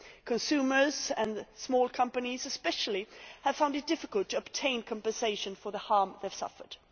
Consumers and small companies, especially, have found it difficult to obtain compensation for the harm they suffered.